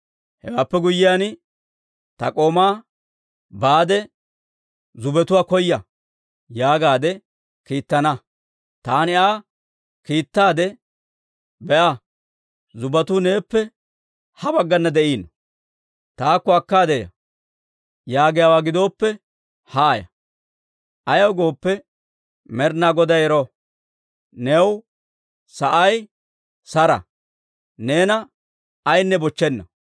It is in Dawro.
Hewaappe guyyiyaan, ta k'oomaa, ‹Baade zubbetuwaa koya› yaagaadde kiittana; taani Aa kiittaadde, ‹Be'a; zubbetuu neeppe ha baggana de'iino; taakko akkaade ya› yaagiyaawaa gidooppe, haaya; ayaw gooppe, Med'inaa Goday ero, new sa'i saro; neena ayaynne bochchenna.